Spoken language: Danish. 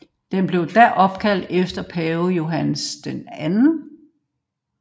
Den blev da opkaldt efter pave Johannes Paul II